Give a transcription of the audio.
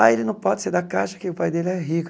Ah, ele não pode ser da caixa que o pai dele é rico.